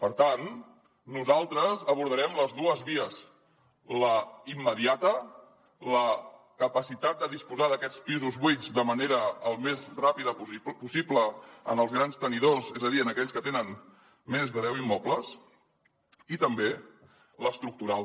per tant nosaltres abordarem les dues vies la immediata la capacitat de disposar d’aquests pisos buits de manera el més ràpida possible als grans tenidors és a dir a aquells que tenen més de deu immobles i també l’estructural